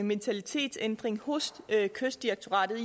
mentalitetsændring hos kystdirektoratet